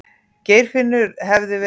Geirfinnur hefði verið.